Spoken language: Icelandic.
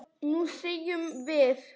Nú semjum við!